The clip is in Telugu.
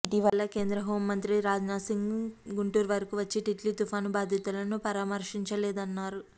ఇటీవల కేంద్ర హోంమంత్రి రాజ్ నాథ్ సింగ్ గుంటూరు వరకు వచ్చి టిట్లీ తుఫాను బాధితులను పరామర్శించలేదన్నారు